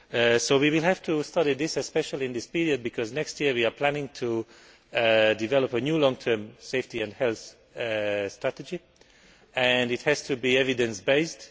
So we will have to study this, especially in this period, because next year we are planning to develop a new long term safety and health strategy, which has to be evidence based.